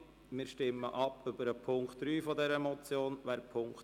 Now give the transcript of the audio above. Wir stimmen über den Punkt 3 dieser Motion ab.